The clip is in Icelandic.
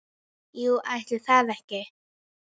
Jú, ætli það ekki!